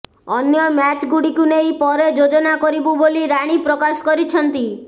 ଅନ୍ୟ ମ୍ୟାଚ୍ଗୁଡ଼ିକୁ ନେଇ ପରେ ଯୋଜନା କରିବୁ ବୋଲି ରାଣୀ ପ୍ରକାଶ କରିଛନ୍ତି